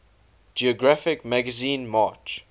geographic magazine march